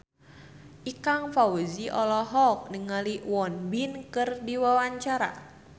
Ikang Fawzi olohok ningali Won Bin keur diwawancara